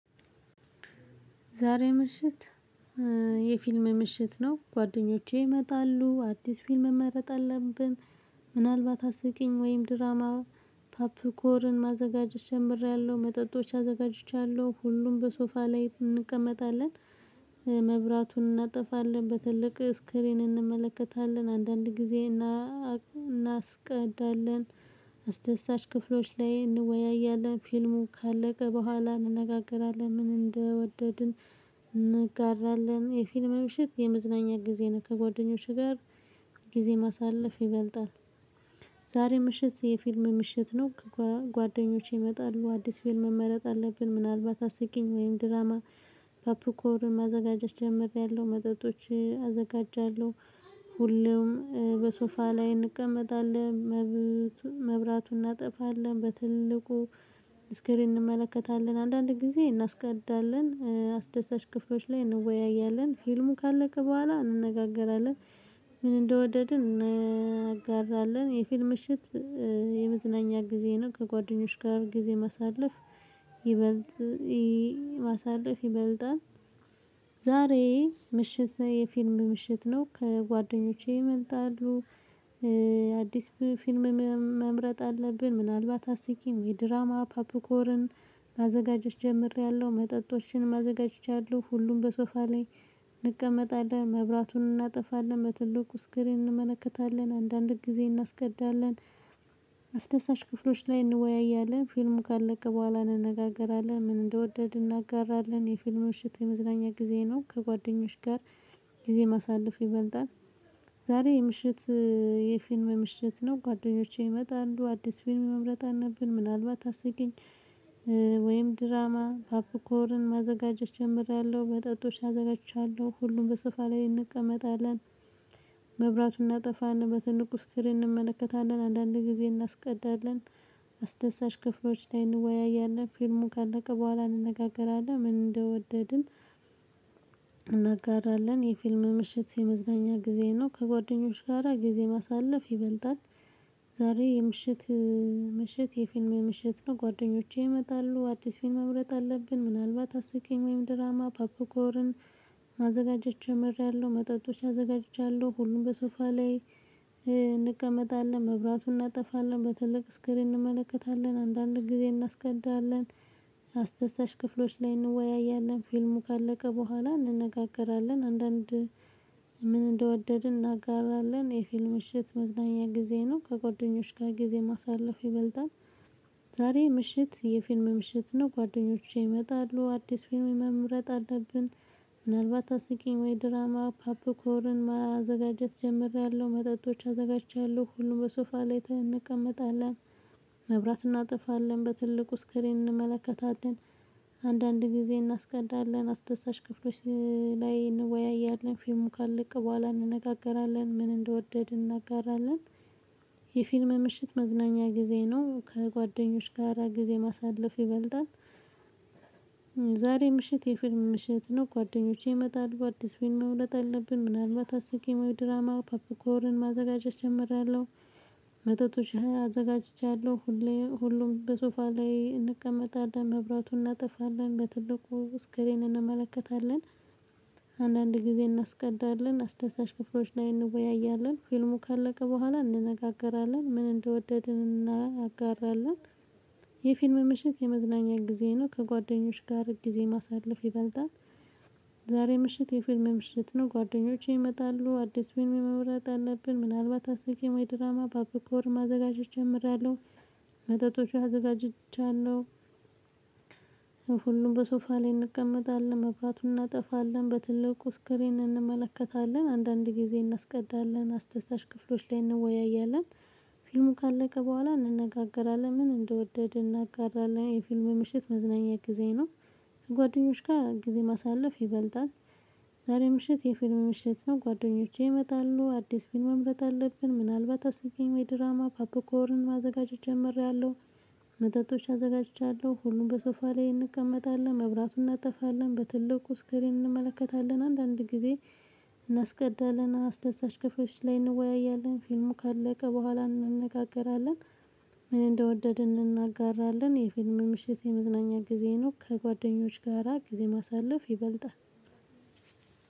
ዛሬ ምሽት የፊልም ምሽት ነው ጓደኞቼ ይመጣሉ አዲስ ፊልም መምረጥ አለብን። ምናልባት አስቂኝ ወይም ድራማ ፓፕኮርን ማዘጋጀት ጀምሬያለሁ መጠጦች አዘጋጅቻለሁ። ሁሉም በሶፋ ላይ እንቀመጣለን። መብራቱን እናጠፋለን በትልቅ ስክሪን እንመለከታለን። አንዳንድ ጊዜ እና እናስቀዳለን አስደሳች ክፍሎች ላይ እንወያያለን። ፊልሙ ካለቀ በኋላ እንነጋገራለን። ምን እንደወደድን? እንጋራለን የፊልም ምሽት የመዝናኛ ጊዜ ነው። ከጓደኞችህ ጋር ጊዜ ማሳለፍ ይበልጣል። ዛሬ ምሽት የፊልም ምሽት ነው ከጓደኞቼ ይመጣሉ አዲስ ፊልም መመረጥ አለብን። ምናልባት አስቂኝ ወይም ድራማ ፓፕርኮርን ማዘጋጀት ጀምሬያለሁ መጠጦች አዘጋጃለሁ። ሁሉም በሶፋ ላይ እንቀመጣለን። መብራቱን እናጠፋለን በትልቁ ስክሪን እንመለከታለን። አንዳንድ ጊዜ እናስቀዳለን አስደሳች ክፍሎች ላይ እንወያያለን። ፊልሙ ካለቀ በኋላ እንነጋገራለን። ምን እንደወደድን? እናጋራለን የፊል ምሽት የመዝናኛ ጊዜ ነው። ከጓደኞች ጋር ጊዜ ማሳለፍ ይበልጥ ማሳለፍ ይበልጣል። ዛሬ ምሽት ነው የፊልም ምሽት ነው ጓደኞቼ ይመጣሉ አዲስ ፊልም መምረጥ አለብን። ምናልባት አስቂኝ ወይ ድራማ ፓፕኮርን ማዘጋጀት ጀምሬያለሁ። መጠጦችንም አዘጋጅቻለሁ ሁሉም በሶፋ ላይ እንቀመጣለን። መብራቱን እናጠፋለን መትልቁ ስክሪን እንመለከታለን። አንዳንድ ጊዜ እናስቀዳለን አስደሳች ክፍሎች ላይ እንወያያለን። ፊልሙ ካለቀ በኋላ እንነጋገራለን። ምን እንደወደድን? እናጋራለን የፊልሙ ምሽት የመዝናኛ ጊዜ ነው። ከጓደኞች ጋር ጊዜ ማሳለፍ ይበልጣል። ዛሬ የምሽት የፊልም ምሽት ነው ጓደኞቼ ይመጣሉ አዲስ ፊልም መምረጥ አነብን። ምናልባት አስቂኝ ወይም ድራማ ፓፕኮርን ማዘጋጀት ጀምሬያለሁ። መጠጦች አዘጋጅቻለሁ ሁሉም በሶፋ ላይ እንቀመጣለን። መብራቱን እናጠፋና በትልቁ ስክሪን እንመለከታለን። አንዳንዴ ጊዜ እናስቀዳለን አስደሳች ክፍሎች ላይ እንወያያለን። ፊልሙ ካለቀ በኋላ እንነጋገራለን። ምን እንደወደድን? እናጋራለን የፊልም ምሽት የመዝገኛ ጊዜ ነው። ከጓደኞች ጋራ ጊዜ ማሳለፍ ይበልጣል። ዛሬ የምሽት ምሽት የፊልም የምሽት ነው ጓደኞቼ ይመጣሉ አዲስ ፊልም መምረጥ አለብን። ምናልባት አስቂኝ ወይም ድራማ ፓፕኮርን ማዘጋጀት ጀመርያለሁ። መጠጦች አዘጋጅቻለሁ ሁሉም በሶፋ ላይ እንቀመጣለን። መብራቱን እናጠፋለን በትልቅ ስክሪን እንመለከታለን። አንዳንድ ጊዜ እናስቀዳለን አስደሳች ክፍሎች ላይ እንወያያለን። ፊልሙ ካለቀ በኋላ እንነጋገራለን። አንዳንድ ምን እንደወደድን? እናጋራለን የፊልም ሽት መዝናኛ ጊዜ ነው። ከጓደኞች ጋር ጊዜ ማሳለፍ ይበልጣል። ዛሬ ምሽት የፊልም ምሽት ነው ጓደኞቼ ይመጣሉ አዲስ ፊልም መምረጥ አለብን። ምናልባት አስቂኝ ወይ ድራማ ፓፕኮርን ማዘጋጀት ጀምሬያለሁ። መጠጦች አዘጋጅቻለሁ ሁሉም በሶፋ ላይ እንቀመጣለን። መብራት እናጠፋለን በትልቁ ስክሪን እንመለከታትን። አንዳንድ ጊዜ እናስቀዳለን አስደሳች ክፍሎች ላይ እንወያያለን። ፊልሙ ካለቀ በኋላ እንነጋገራለን። ምን እንደወደድን? እናጋራለን የፊልም ምሽት መዝናኛ ጊዜ ነው። ከጓደኞች ጋራ ጊዜ ማሳለፍ ይበልጣል። ዛሬ ምሽት የፊልም ምሽት ነው ጓደኞቼ ይመጣሉ አዲስ ፊልም መምረጥ አለብን። ምናልባት አስቂም ወይ ድራማ ፓፒኮርን ማዘጋጀት እጀምራለሁ። መጠጦች አዘጋጅቻለሁ ሁሉም በሶፋ ላይ እንቀመጣለን። መብራቱን እናጠፋለን በትልቁ ስክሪን እንመለከታለን። አንዳንድ ጊዜ እናስቀዳለን አስደሳች ክፍሎች ላይ እንወያያለን። ፊልሙ ካለቀ በኋላ እንነጋገራለን። ምን እንደወደድን? እናጋራለን የፊልም ምሽት የመዝናኛ ጊዜ ነው። ከጓደኞች ጋር ጊዜ ማሳለፍ ይበልጣል። ዛሬ ምሽት የፊልም ምሽት ነው ጓደኞቼ ይመጣሉ አዲስ ፊልም መምረጥ አለብን። ምናልባት አስቂኝ ወይም ድራማ ፖፕኮርን ማዘጋጀት ጀምሬያለሁ። መጠጦች አዘጋጅቻለሁ። ሁሉም በሶፋ ላይ እንቀመጣለን። መብራቱን እናጠፋለን በትልቁ ስክሪን እንመለከታለን። አንዳንድ ጊዜ እናስቀዳለን አስደሳች ክፍሎች ላይ እንወያያለን። ፊልሙ ካለቀ በኋላ እንነጋገራለን። ምን እንደወደድን? እናጋራለን የፊልም ምሽት መዝናኛ ጊዜ ነው። ከጓደኞች ጋር ጊዜ ማሳለፍ ይበልጣል። ዛሬ ምሽት የፊልም ምሽት ነው ጓደኞቼ ይመጣሉ አዲስ ፊልም መምረጥ አለብን። ምናልባት አስቀኝ ወይ ድራማ ፓፕኮርን ማዘጋጀት ጀመርኩኝ። መጠጦች አዘጋጅቻለሁ ሁሉም በሶፋ ላይ እንቀመጣለን። መብራቱን እናጠፋለን በትልቁ ስክሪን እንመለከታለን። አንዳንድ ጊዜ እናስቀዳለን አስደሳች ክፍሎች ላይ እንወያያለን። ፊልሙ ካለቀ በኋላ እንነጋገራለን። ምን እንደወደድን? እናጋራለን የፊልም ምሽት የመዝናኛ ጊዜ ነው። ከጓደኞች ጋራ ጊዜ ማሳለፍ ይበልጣል።